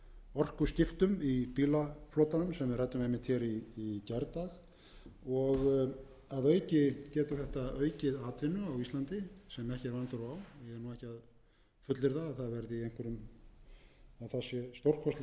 orkuskiptum í bílaflotanum sem við ræddum einmitt í gærdag og að auki getur þetta aukið atvinnu á íslandi sem ekki er vanþörf á ég er ekki að fullyrða að það sé stórkostleg